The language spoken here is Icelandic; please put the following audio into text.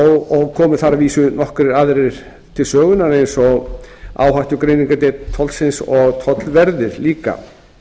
og komu þar að vísu nokkrir aðrir til sögunnar eins og áhættugreiningardeild fólksins og tollverðir líka